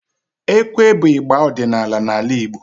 Ekwe bụ igba ọdịnala n'ala Igbo